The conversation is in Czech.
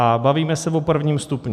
A bavíme se o prvním stupni.